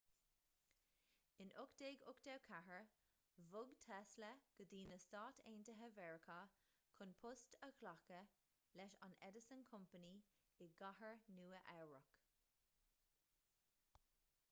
in 1884 bhog tesla go dtí na stáit aontaithe mheiriceá chun post a ghlacadh leis an edison company i gcathair nua eabhrac